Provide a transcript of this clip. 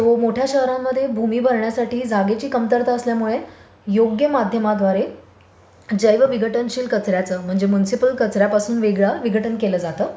So मोठ्या शहरात मोठ्या शहरामध्ये भूमी भरण्यासाठी जागेची कमतरता असल्यामुळे योग्य माध्यमाद्वारे जैवविघटनशील कचर् याचं म्हणजे म्युन्सिपल कचर् यापासून वेगळा विघटन केलं जातं.